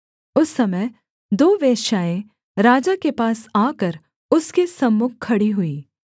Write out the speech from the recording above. उस समय दो वेश्याएँ राजा के पास आकर उसके सम्मुख खड़ी हुईं